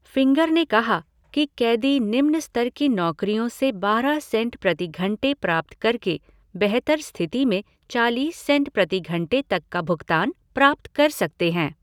Finger ने कहा कि कैदी निम्न स्तर की नौकरियों से बारह सेंट प्रति घंटे प्राप्त करके बेहतर स्थिति में चालीस सेंट प्रति घंटे तक का भुगतान प्राप्त कर सकते हैं।